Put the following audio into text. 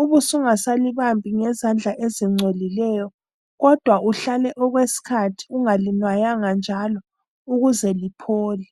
ube ungasalibambi ngezandla ezingcolileyo, kodwa uhlale okwesikhathi ungalinwaya njalo, ukuze liphole.